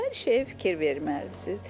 Hər şeyə fikir verməlisiz.